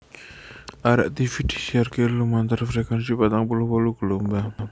Arek tivi disiarake lumantar frekuensi patang puluh wolu gelombang